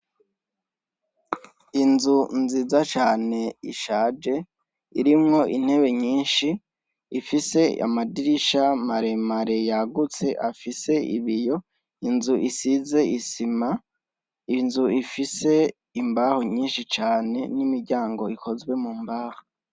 Inzu nziza cane ishaje, irimwo intebe nyishi ifise Amadirisha maremare yagutse afise ibiyo, inzu isize isima, inzu ifise imbaho nyishi cane n'imiryango ikozwe mu mbaho.